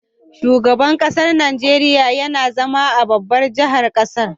Shugaban ƙasar Nigeria YAna zama a babbar jahar ƙasar